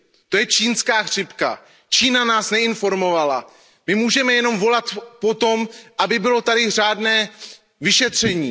To je čínská chřipka, Čína nás neinformovala, my můžeme jenom volat po tom, aby tady bylo řádné vyšetření.